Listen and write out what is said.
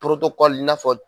i n'a fɔ